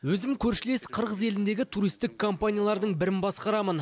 өзім көршілес қырғыз еліндегі туристік компаниялардың бірін басқарамын